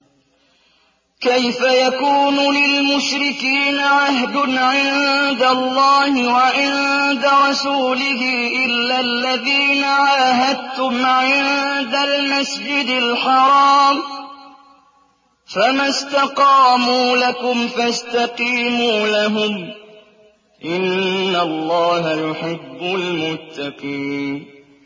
كَيْفَ يَكُونُ لِلْمُشْرِكِينَ عَهْدٌ عِندَ اللَّهِ وَعِندَ رَسُولِهِ إِلَّا الَّذِينَ عَاهَدتُّمْ عِندَ الْمَسْجِدِ الْحَرَامِ ۖ فَمَا اسْتَقَامُوا لَكُمْ فَاسْتَقِيمُوا لَهُمْ ۚ إِنَّ اللَّهَ يُحِبُّ الْمُتَّقِينَ